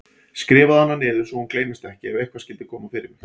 Skrifaðu hana niður svo hún gleymist ekki ef eitthvað skyldi koma fyrir mig.